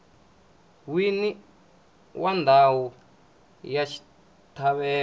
wini wa ndhawu ya xitlhavelo